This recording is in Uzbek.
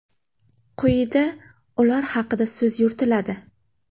Quyida ular haqida so‘z yuritiladi.